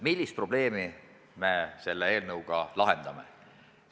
Millist probleemi me selle eelnõuga lahendame?